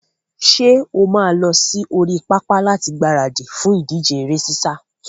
Ṣé wà á lọ sí orí pápá láti gbaradì fún ìdíje eré sísá?